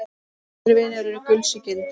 Góðir vinir eru gulls ígildi.